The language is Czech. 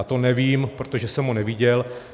A to nevím, protože jsem ho neviděl.